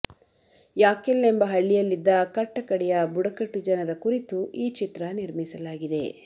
ಯಾಕೆಲ್ ಎಂಬ ಹಳ್ಳಿಯಲ್ಲಿದ್ದ ಕಟ್ಟ ಕಡೇಯ ಬುಡಕಟ್ಟು ಜನರ ಕುರಿತು ಈ ಚಿತ್ರ ನಿರ್ಮಿಸಲಾಗಿದೆ